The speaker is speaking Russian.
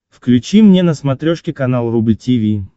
включи мне на смотрешке канал рубль ти ви